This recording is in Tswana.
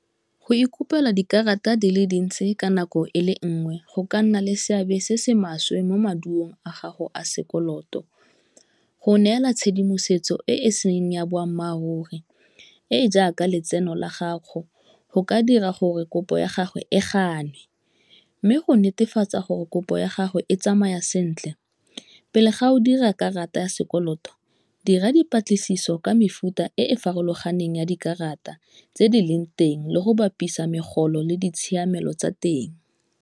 Go ikopela dikarata di le dintsi ka nako e le nngwe go ka nna le seabe se se maswe mo maduo a gago a sekoloto, go neela tshedimosetso e e seng ya boammaaruri e e jaaka letseno la gago go ka dira gore kopo ya gagwe e ganwe, mme go netefatsa gore kopo ya gagwe e tsamaya sentle, pele ga o dira karata ya sekoloto dira dipatlisiso ka mefuta e e farologaneng ya dikarata tse di leng teng le go bapisa megolo le ditshiamelo tsa teng.